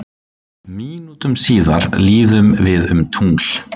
Mínútum síðar líðum við um tungl